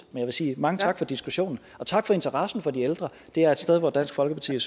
jeg vil sige mange tak for diskussionen og tak for interessen for de ældre det er et sted hvor dansk folkeparti